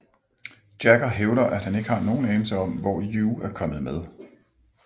Jagger hævder at han ikke har nogen anelse om hvor You er kommet med